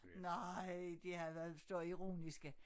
Nej de havde været så ironiske